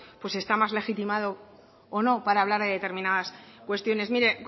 pues está más legitimado o no para hablar de determinadas cuestiones mire